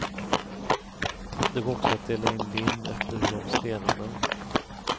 Det går också att dela in lim efter hur de stelnar.